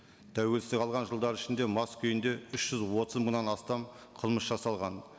тәуелсіздік алған жылдар ішінде мас күйінде үш жүз отыз мыңнан астам қылмыс жасалған